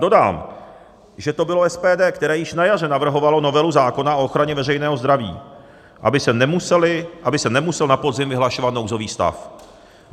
Dodám, že to bylo SPD, které již na jaře navrhovalo novelu zákona o ochraně veřejného zdraví, aby se nemusel na podzim vyhlašovat nouzový stav.